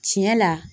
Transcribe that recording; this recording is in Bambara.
Tiɲɛ la